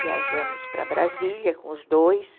Viajamos para Brasília com os dois.